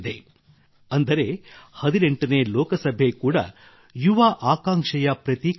ಅಂದರೆ 18ನೇ ಲೋಕಸಭೆ ಕೂಡಾ ಯುವ ಆಕಾಂಕ್ಷೆಯ ಪ್ರತೀಕವಾಗಲಿದೆ